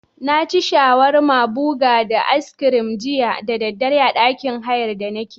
Naci shawarma buga da aiskirin jiya dare a ɗakin hayan da nake.